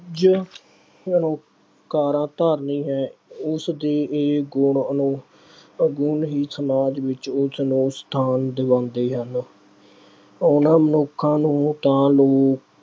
ਕੁਝ ਕਾਰਾ ਧਾਰਨੀ ਹੈ। ਉਸ ਦੇ ਇਹ ਗੁਣ ਉਸ ਨੂੰ ਔਗੁਣੀ ਸਮਾਜ ਵਿੱਚ ਉਸਨੂੰ ਸਥਾਨ ਦਵਾਉਂਦੇ ਹਨ। ਉਹਨਾਂ ਮਨੁੱਖਾਂ ਨੂੰ ਤਾਂ ਲੋਕ